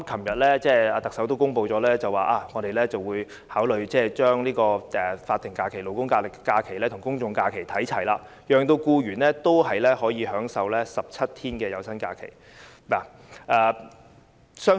特首昨天公布，會考慮把法定勞工假期與公眾假期看齊，讓僱員可以享有17天有薪假期。